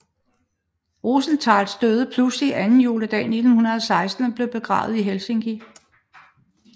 Rozentāls døde pludseligt anden juledag 1916 og blev begravet i Helsinki